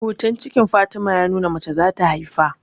Hoton cikin Fatima ya nuna mace za ta haifa